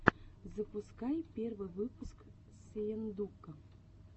запускай первый выпуск сыендука